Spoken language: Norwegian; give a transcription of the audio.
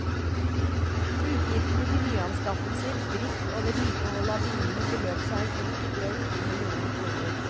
Utgiftene til nyanskaffelser, drift, og vedlikehold av bilene beløp seg i fjor til drøyt to millioner kroner.